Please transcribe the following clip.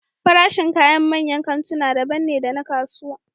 Farashin kayan manyan kantuna daban ne da na kasuwa